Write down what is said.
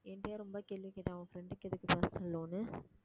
என்கிட்டயே ரொம்ப கேள்வி கேட்டாங்க உன் friend க்கு எதுக்கு personal loan